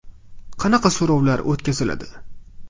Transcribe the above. Qanaqa so‘rovlar o‘tkaziladi?